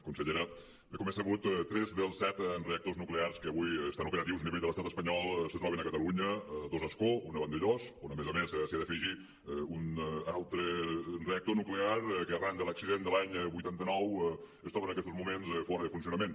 consellera bé com és sabut tres dels set reactors nuclears que avui estan operatius a nivell de l’estat espanyol se troben a catalunya dos a ascó un a vandellòs on a més a més s’hi ha d’afegir un altre reactor nuclear que arran de l’accident de l’any vuitanta nou es troba en aquestos moments fora de funcionament